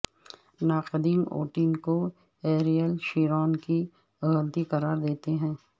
ناقدین ووٹنگ کو Ariel Sharon کی غلطی قرار دیتے ہیں